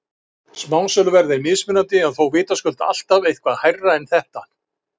Smásöluverð er mismunandi en þó vitaskuld alltaf eitthvað hærra en þetta.